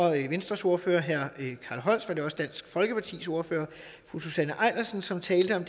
venstres ordfører herre carl holst var det også dansk folkepartis ordfører fru susanne eilersen som talte om